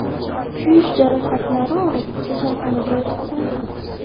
kuyish jarohatlari olib, kasalxonaga yotqizildi.